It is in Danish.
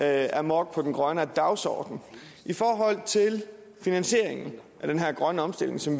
amok på den grønne dagsorden i forhold til finansieringen af den her grønne omstilling som